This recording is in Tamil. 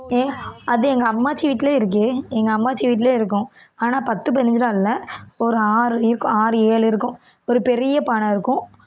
ஏன் அது எங்க அம்மாச்சி வீட்டிலயே இருக்கே எங்க அம்மாச்சி வீட்டிலயே இருக்கும் ஆனா பத்து பதினஞ்சு எல்லாம் இல்ல ஒரு ஆறு இருக்கும் ஆறு ஏழு இருக்கும் ஒரு பெரிய பானை இருக்கும்